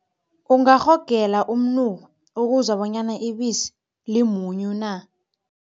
Ungarhogela umnuko ukuzwa bonyana ibisi limunyu na?